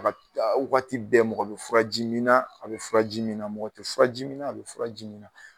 wagati bɛɛ mɔgɔ bɛ furaji min na a bɛ furaji min na mɔgɔ tɛ furaji min na a bɛ furaji min na.